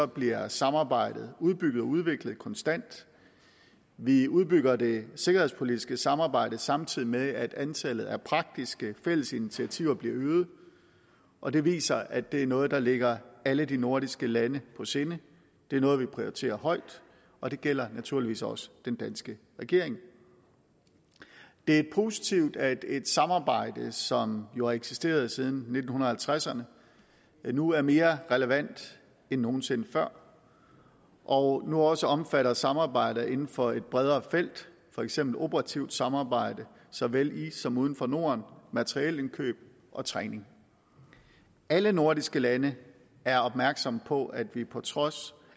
bliver samarbejdet udbygget og udviklet konstant vi udbygger det sikkerhedspolitiske samarbejde samtidig med at antallet af praktiske fælles initiativer bliver øget og det viser at det er noget der ligger alle de nordiske lande på sinde det er noget vi prioriterer højt og det gælder naturligvis også den danske regering det er positivt at et samarbejde som jo har eksisteret siden nitten halvtredserne nu er mere relevant end nogen sinde før og nu også omfatter samarbejder inden for et bredere felt for eksempel operativt samarbejde såvel i som uden for norden materielindkøb og træning alle nordiske lande er opmærksomme på at vi på trods